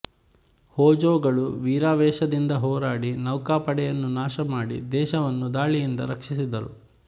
ಹೋಜೋಗಳು ವೀರಾವೇಶದಿಂದ ಹೋರಾಡಿ ನೌಕಾಪಡೆಯನ್ನು ನಾಶಮಾಡಿ ದೇಶವನ್ನು ದಾಳಿಯಿಂದ ರಕ್ಷಿಸಿದರು